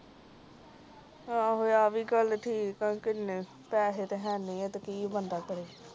ਅੱਗੋਂ ਆ ਵੀ ਗੱਲ ਠੀਕ ਆ ਕੀਨੇ ਪੈਸੇ ਤਾ ਹੈ ਨੀ ਤੇ ਕਿ ਬੰਦਾ ਕਰੇ